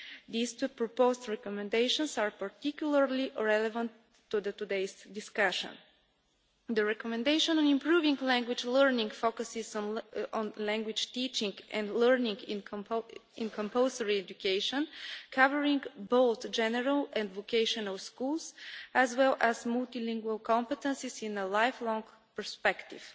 The two proposed recommendations are particularly relevant to today's discussion. The recommendation on improving language learning focuses on language teaching and learning in compulsory education, covering both general and vocational schools, as well as multilingual competences in a lifelong perspective.